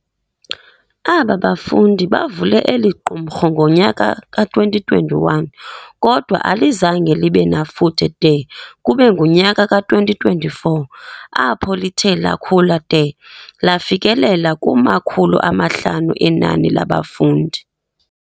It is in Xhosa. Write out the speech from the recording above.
Aba bafundi bavule eliQumrhu ngonyaka ka 2021 kodwa alizange libe nafuthe de kube ngunyaka ka 2024 apho lithe lakhula de lafikelela kumakhulu amahlanu enani labafundi.